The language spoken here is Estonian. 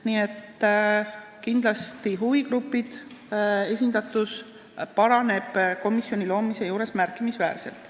Nii et kindlasti paraneb huvigruppide esindatus komisjoni loomisel märkimisväärselt.